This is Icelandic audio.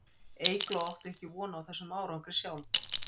Eygló átti ekki von á þessum árangri sjálf.